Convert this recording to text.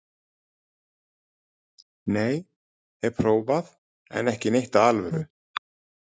Nei, hef prófað en ekki neitt af alvöru.